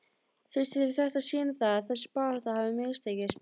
Finnst þér þetta sýna það að þessi barátta hafi mistekist?